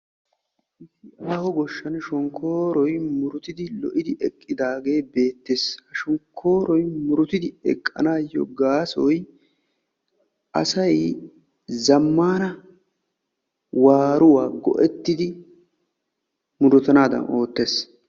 Waho goshshaan shonkkooroy muruttidi lo'idi eqqidaagee beettees. Shonkkooroy muruttidi eqqanaayo gaasoy; asay zammana waaruwaa go"ettidi murutanaadan oottees.